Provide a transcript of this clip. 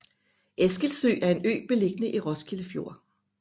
Eskilsø er en ø beliggende i Roskilde Fjord